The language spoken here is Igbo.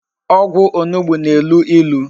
Ogwu onugbu na-elu ilu